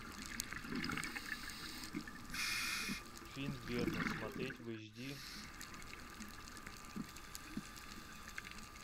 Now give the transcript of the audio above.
фильм верность смотреть в эйч ди